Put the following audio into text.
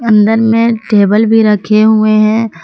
अंदर में टेबल भी रखे हुए हैं।